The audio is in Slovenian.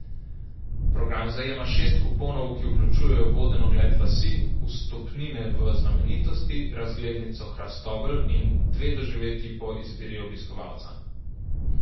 Program zajema šest kuponov, ki vključujejo voden ogled vasi, vstopnine v znamenitosti, razglednico Hrastovelj in dve doživetji po izbiri obiskovalca.